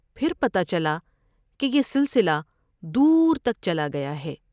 پھر پتہ چلا کہ یہ سلسلہ دور تک چلا گیا ہے ۔